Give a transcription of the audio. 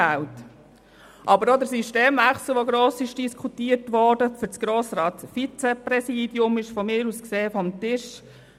Aber auch der gross diskutierte Systemwechsel für das Grossratsvizepräsidium ist von mir aus gesehen vom Tisch.